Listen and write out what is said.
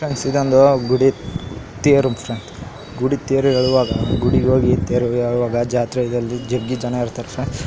Friends ಇದೊಂದು ಗುಡಿ ತೇರು ಫ್ರೆಂಡ್ಸ್ ಗುಡಿ ತೇರು ಎಳೆಯುವಾಗ ಗುಡಿ ಹೋಗಿ ತೇರು ಎಳೆಯುವಾಗ ಜಾತ್ರೆಯಲ್ಲಿ ಜಗ್ಗಿ ಜನಾರ್ಧನ.